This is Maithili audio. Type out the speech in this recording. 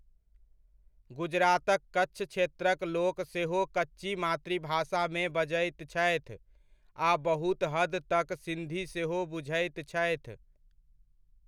गुजरातक कच्छ क्षेत्रक लोक सेहो कच्ची मातृभाषामे बजैत छथि आ बहुत हद तक सिन्धी सेहो बुझैत छथि।